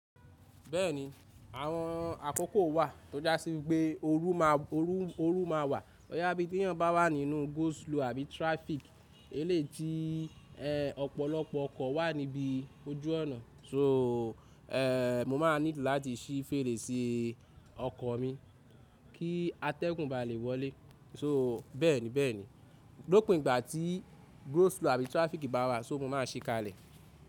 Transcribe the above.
Bẹ́ẹ̀ni, àwọn àkókò wà tó jásí pé ooru máa wà. Ó yá bí ti eeyan bá wà nínú go slow àbí traffic, ẹlèyii ti ọ̀pọ̀lọpọ̀ ọkọ̀ wà níbí ojú ọ̀nà. So, mo máa need láti sí fèrèsé ọkọ̀ mi kí atẹ́gùn ba lè wọlé. So bẹ́ẹ̀ni bẹ́ẹ̀ni, lópin ìgbà tí go slow àbí traffic bá wà, so mo máa ṣíkalẹ̀.